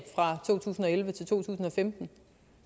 fra to tusind og elleve til to tusind og femten